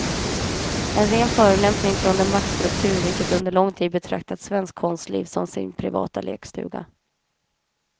En ren förolämpning från den maktstruktur vilken under lång tid betraktat svenskt konstliv som sin privata lekstuga.